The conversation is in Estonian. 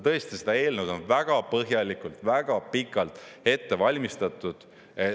Tõesti, seda eelnõu on väga põhjalikult, väga pikalt ette valmistatud.